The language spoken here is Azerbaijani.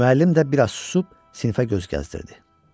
Müəllim də biraz susub sinifə göz gəzdirdi.